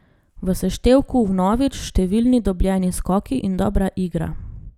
V seštevku vnovič številni dobljeni skoki in dobra igra.